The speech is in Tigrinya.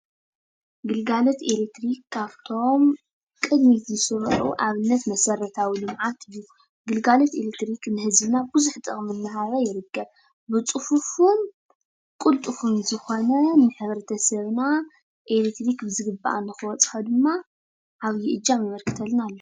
ግልጋሎት ኤሌክትሪክ ካብቶም ቅድሚት ዝስርዑ ኣብነት መሰራታዊ ልምዓት እዩ፡፡ ግልጋሎት ኤሌትሪክ ንህዝብና ብዙሕ ጥቕሚ እናሃበ ይርከብ፡፡ ፅፉፉን ቅልጡፉን ዝኾነ ንሕብረተሰብና ኤሌትሪክን ብዝግባእ ንክበፅሖ ድማ ዓብይ እጃም የበርክተልና ኣሎ፡፡